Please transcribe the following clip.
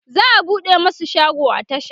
za'a buɗe masu shago a tasha